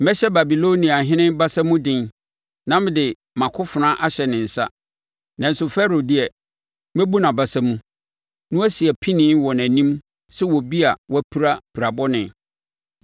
Mɛhyɛ Babiloniahene basa mu den na mede mʼakofena ahyɛ ne nsa, nanso Farao deɛ, mɛbu nʼabasa mu, na wasi apinie wɔ nʼanim sɛ obi a wapira pirabɔne.